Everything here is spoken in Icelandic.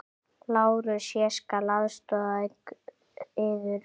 LÁRUS: Ég skal aðstoða yður.